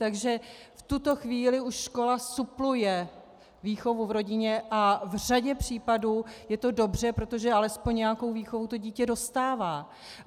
Takže v tuto chvíli už škola supluje výchovu v rodině a v řadě případů je to dobře, protože alespoň nějakou výchovu to dítě dostává.